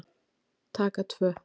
Taka tvö